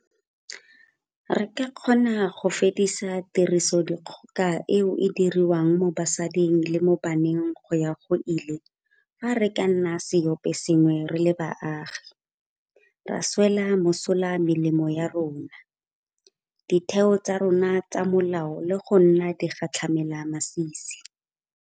Re ka kgona go fedisa tirisodikgoka e e diriwang mo basading le mo baneng go ya go ile fa re ka nna seopo sengwe re le baagi, ra swela mosola melomo ya rona, ditheo tsa rona tsa molao le go nna digatlhamelamasisi.